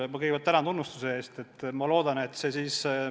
Aga ma kõigepealt tänan tunnustuse eest!